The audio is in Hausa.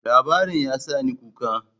Labarin ya sa ni kuka.